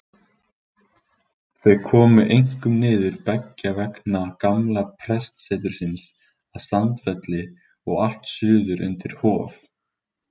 Þau komu einkum niður beggja vegna gamla prestsetursins að Sandfelli og allt suður undir Hof.